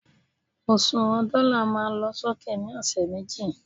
òṣùwàn dọ́là ma lọ sókè ni ọsẹ̀ méjì